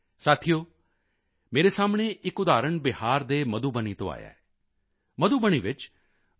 ਸਾਥੀਓ ਮੇਰੇ ਸਾਹਮਣੇ ਇੱਕ ਉਦਾਹਰਣ ਬਿਹਾਰ ਦੇ ਮਧੂਬਨੀ ਤੋਂ ਆਇਆ ਹੈ ਮਧੂਬਨੀ ਵਿੱਚ ਡਾ